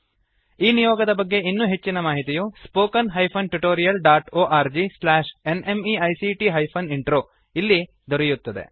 ಈ ನಿಯೋಗದ ಬಗ್ಗೆ ಇನ್ನೂ ಹೆಚ್ಚಿನ ಮಾಹಿತಿಯು spoken tutorialorgnmeict intro spoken hyphen tutorial dot O R G slash N M E I C T hyphen intro ಎಂಬ ಲಿಂಕ್ ನಲ್ಲಿ ದೊರೆಯುತ್ತದೆ